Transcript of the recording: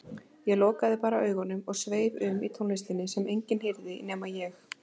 Ég lokaði bara augunum og sveif um í tónlistinni sem enginn heyrði nema ég.